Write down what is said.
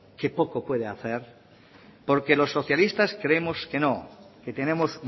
que poco puede hacer porque los socialistas creemos que no que tenemos